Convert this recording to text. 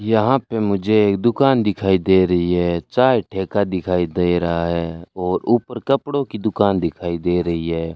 यहां पे मुझे एक दुकान दिखाई दे रही है चाय ठेका दिखाई दे रहा है और ऊपर कपड़ों की दुकान दिखाई दे रही है।